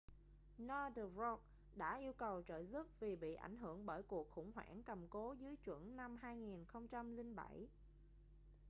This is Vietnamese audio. northern rock đã yêu cầu trợ giúp vì bị ảnh hưởng bởi cuộc khủng hoảng cầm cố dưới chuẩn năm 2007